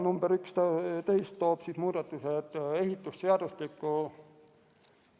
Number 11 toob muudatused ehitusseadustikku.